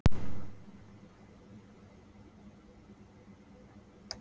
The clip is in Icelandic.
Sá sem er andvaka vakir gegn vilja sínum.